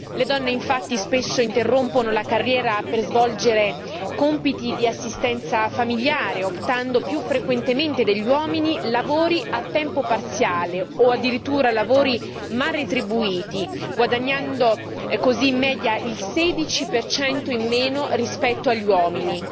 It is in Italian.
Le donne infatti spesso interrompono la carriera per svolgere compiti di assistenza familiare optando più frequentemente degli uomini per lavori a tempo parziale o addirittura lavori mal retribuiti, guadagnando così in media il 16 in meno rispetto agli uomini.